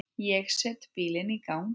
Ég set bílinn í gang.